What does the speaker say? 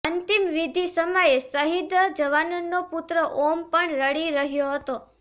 અંતિમવિધિ સમયે શહીદ જવાનનો પુત્ર ઓમ પણ રડી રહ્યો હતો